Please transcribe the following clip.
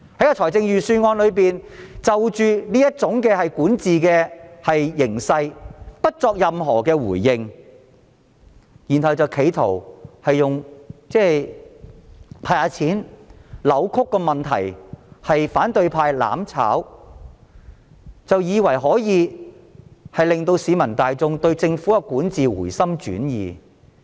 然而預算案沒有就這種管治形勢作出任何回應，企圖以"派錢"扭曲問題，指反對派"攬炒"，以為可以令市民對政府的管治回心轉意。